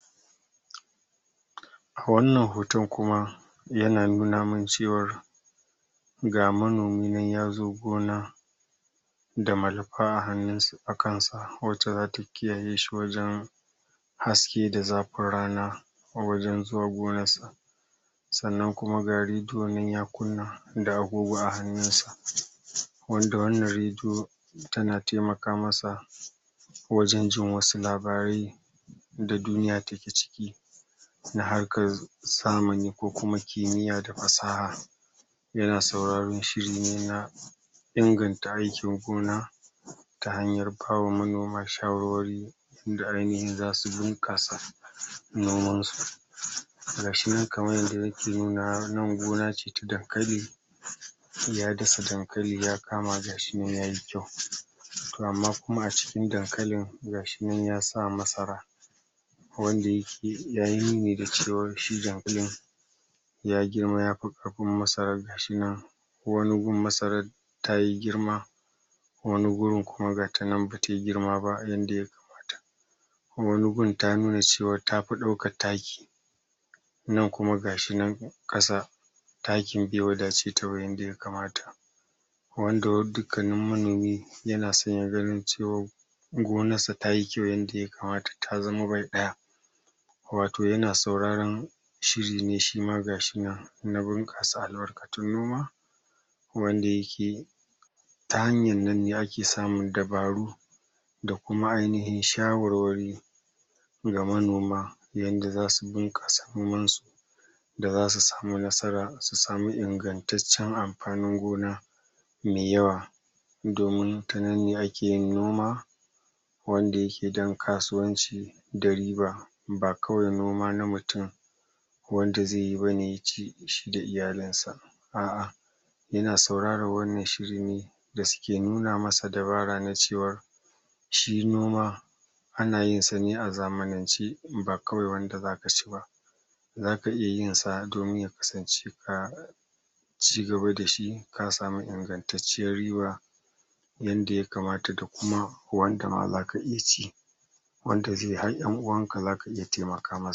A wannan hoton kuma, yana nuna min cewar ga manomi nan ya zo gona, da malafa a kansa watta zata kiyaye shi wajen haske da zafin rana, a wajen zuwa gonarsa. Sannan kuma ga rediyo nan ya kunna, da agogo a hannunsa. Wanda wannan rediyo, tana taimaka masa wajen jin wasu labarai, da duniya take ciki na harkar zamani ko kuma kimiya da fasaha. Yana sauraron shiri ne na inganta aikin gona ta hanyar bawa manoma shawarwari, inda ainihi za su bunƙasa nomansu, ga shi nan kamar ydda yake nunawa, nan gona ce ta dankali, ya dasa dankali ya kama, ga shi nan yayi kyau, to amma kuma a cikin dankalin, ga shi nan yasa masara wanda ya yi nuni da cewa shi dankalin ya girma ya fi ƙarfin masarar, ga shi nan wani gun masarar ta yi girma, wani gurin kuma gata nan bata yui girma ba yadda wqani gun ta nuna cewa tafi ɗaukan taki, nan kuma ga shi nan ƙasa, takin bai wadaceta ba yada ya kamata. Wanda dukannin manomi yana son ya gani cewar gonarsa tayi kyau yadda ya kamat, ta zama bai ɗaya. wato yana sauraron shiri ne shima na bunƙasa albarkun noma wanda yake ta hanyar nanne ake samun dabaru, da kuma ainihin shawarwari, ga manoma, yanda za su bunƙasa nomansu. da zasu sami nasara da a su sami ingantaccen amfanin gona me yawa, domin tananne ake yin noma, wanda yake don kasuwanci, da riba ba kawai noma na mutum wanda zai yi bane ya ci shi da iyalinsa, to a'a ina sauraron wannan shiri ne, da suke nuna masa dabara na cewa, shi noma, ana yinsa a zamanance ba kawai wanda zaka ci ba. zaka iya yinsa domin ya kasance ka ci gaba da shi, ka sami ingantacciyar riba yanda ya kamat da kuma wanda ma zaka iya ci. wanda zai har 'yan'uwanka ma, zaka iya taimaka musu.